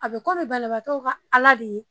A bɛ komi banabagakɛ ka Ala de ye